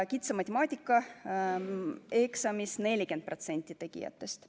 Kitsa matemaatika eksamist loobus 40% võimalikest tegijatest.